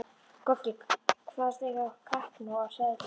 Goggi kvaðst eiga kappnóg af seðlum.